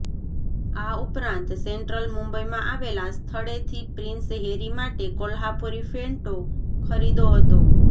આ ઉપરાંત સેંટ્રલ મુંબઈમાં આવેલાં સ્થળેથી પ્રિંસ હેરી માટે કોલ્હાપુરી ફેંટો ખરિદ્યો હતો